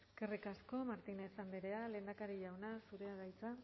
eskerrik aso martínez andrea lehendakari jauna zurea da hitza